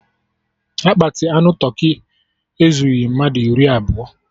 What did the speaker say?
Akpati anụ tụrkị ezugbi mmadụ iri abụọ